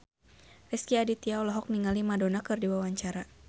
Rezky Aditya olohok ningali Madonna keur diwawancara